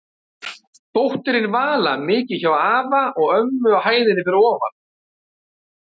Dóttirin Vala mikið hjá afa og ömmu á hæðinni fyrir ofan.